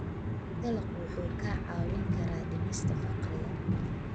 Dalaggu wuxuu kaa caawin karaa dhimista faqriga.